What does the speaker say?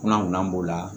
Kunna b'o la